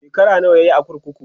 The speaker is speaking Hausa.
shekara nawa yayi a kurkuku?